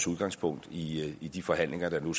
udgangspunktet i i de forhandlinger der nu